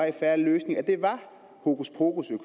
en fair løsning og